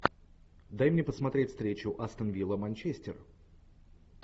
дай мне посмотреть встречу астон вилла манчестер